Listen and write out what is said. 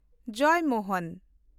Joymohan